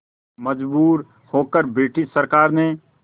मजबूर होकर ब्रिटिश सरकार ने